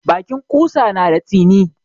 Bakin ƙusa na da tsini.